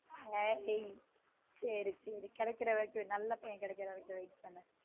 ஏய் சேரி சேரி கெடைக்குர வரைக்கும் நல்ல பையன் கெடைக்குற வரைக்கும் wait பண்ணு